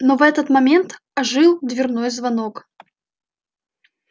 но в этот момент ожил дверной звонок